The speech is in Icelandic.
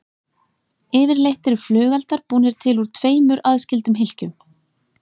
Yfirleitt eru flugeldar búnir til úr tveimur aðskildum hylkjum.